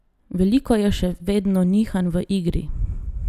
Veliko je še vedno nihanj v igri.